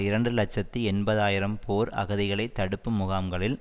இரண்டு இலட்சத்தி எண்பது ஆயிரம் போர் அகதிகளை தடுப்புமுகாம்களில்